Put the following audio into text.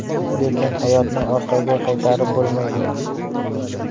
Lekin hayotni orqaga qaytarib bo‘lmaydi.